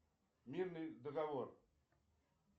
мирный договор